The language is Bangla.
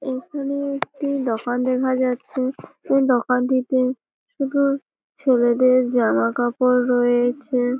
এখানে একটি দোকান দেখা যাচ্ছে দোকানটিতে শুধু ছেলেদের জামাকাপড় রয়েছে।